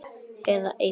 að eipa